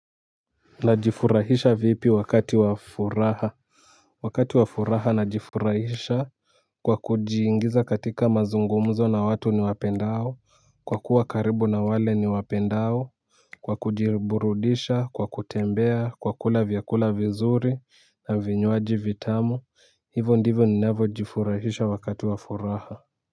Najifurahisha vipi wakati wafuraha. Wakati wafuraha najifurahisha. Kwa kujiingiza katika mazungumzo na watu ni wapendao. Kwa kuwa karibu na wale ni wapendao. Kwa kujiburudisha kwa kutembea kwa kula vyakula vizuri na vinywaji vitamu. Hivo ndivyo ninavyo jifurahisha wakati wafuraha.